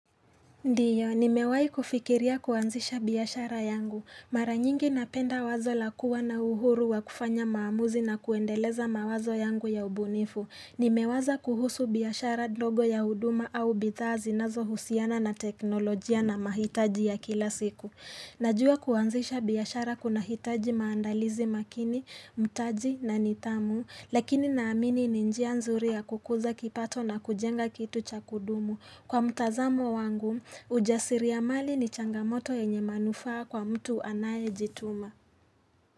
Ndio, nimewai kufikiria kuanzisha biashara yangu. Mara nyingi napenda wazo la kuwa na uhuru wa kufanya maamuzi na kuendeleza mawazo yangu ya ubunifu. Nimewaza kuhusu biashara ndogo ya huduma au bidhaa zinazohusiana na teknolojia na mahitaji ya kila siku. Najua kuanzisha biashara kunahitaji maandalizi makini, mtaji na nithamu, lakini naamini ninjia nzuri ya kukuza kipato na kujenga kitu cha kudumu. Kwa mtazamo wangu, ujasiri ya mali ni changamoto yenye manufaa kwa mtu anaye jituma.